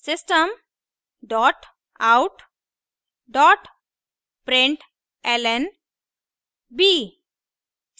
system dot out dot println b;